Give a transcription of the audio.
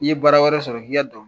Ni ye bara wɛrɛ sɔrɔ k'i ka dɔn